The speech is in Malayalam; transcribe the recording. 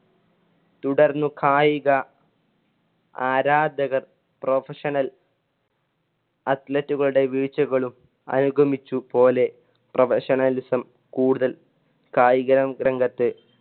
തുടർന്ന് കായിക ആരാധകർ professional athletic കളുടെ വീഴ്ചകളും അനുഗമിച്ചു പോലെ professionalism കൂടുതല്‍ കായിക രംഗത്ത്